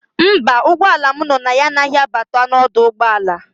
Mba, ụgbọala m no na ya anaghị abata n'ọdụ ụgbọala.